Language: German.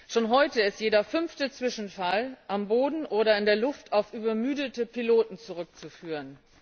Schon heute ist jeder fünfte Zwischenfall am Boden oder in der Luft auf übermüdete Piloten zurückzuführen.